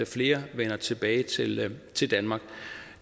flere vender tilbage til til danmark